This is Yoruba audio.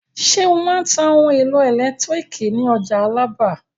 Ṣé ó máa ń ta ohun-èlò ẹ̀lẹ́tíríkì ní ọjà Alábà?